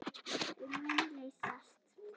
Þau munu leysast.